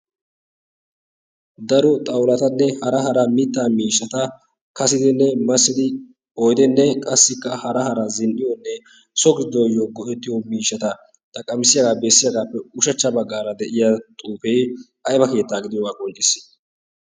daro xaulatanne hara hara mitta miishata kasidinne massidi oidenne qassikka hara hara zin77iyoonne sogiiidooyyo goettiyo miishata xaqqamissiyaagaa beessiyaagaappe ushachcha baggaara de7iya xuufei aiba keettaa gidiyoogaa koncciis?